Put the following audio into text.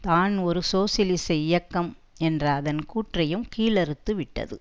தான் ஒரு சோசியலிச இயக்கம் என்ற அதன் கூற்றையும் கீழறுத்து விட்டது